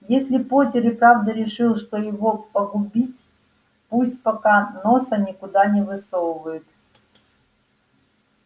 если поттер и правда решил что его погубить пусть пока носа никуда не высовывает